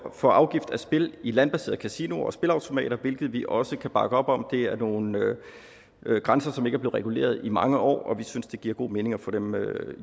for afgift af spil i landbaserede kasinoer og spilleautomater hvilket vi også kan bakke op om det er nogle grænser som ikke reguleret i mange år og vi synes det giver god mening at få dem